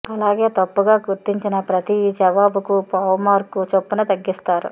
అలాగే తప్పుగా గుర్తించిన ప్రతి జవాబుకూ పావు మార్కు చొప్పున తగ్గిస్తారు